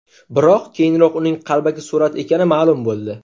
Biroq, keyinroq uning qalbaki surat ekani ma’lum bo‘ldi.